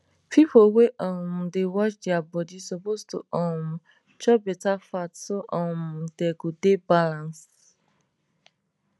people wey um dey watch their body suppose to um chop better fat so um dem go dey balance